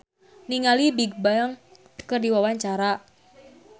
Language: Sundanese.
Kemal Palevi olohok ningali Bigbang keur diwawancara